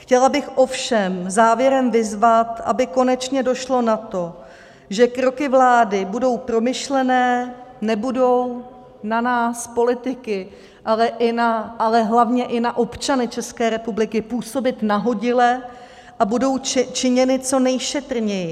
Chtěla bych ovšem závěrem vyzvat, aby konečně došlo na to, že kroky vlády budou promyšlené, nebudou na nás politiky, ale hlavně i na občany České republiky působit nahodile a budou činěny co nejšetrněji.